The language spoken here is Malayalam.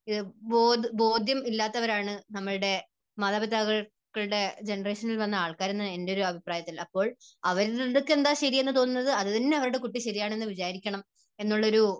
ബോധം, ബോധ്യം ഇല്ലാത്തവരാണ് നമ്മുടെ മാതാപിതാക്കളുടെ ജനറേഷനിൽ വന്ന ആൾക്കാർ എന്നാണ് എൻറെ ഒരു അഭിപ്രായത്തിൽ. അപ്പോൾ അവർക്ക് എന്താണ് ശരിയെന്ന് തോന്നുന്നത് അത് തന്നെ അവരുടെ കുട്ടി ശരി എന്ന് വിചാരിക്കണം എന്നുള്ള ഒരു